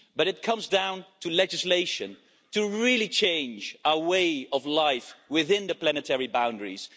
But it comes down to legislation to really change our way of life within the planetary boundaries.